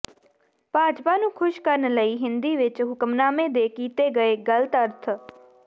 ਭਾਜਪਾ ਨੂੰ ਖ਼ੁਸ਼ ਕਰਨ ਲਈ ਹਿੰਦੀ ਵਿਚ ਹੁਕਮਨਾਮੇ ਦੇ ਕੀਤੇ ਗਏ ਗ਼ਲਤ ਅਰਥ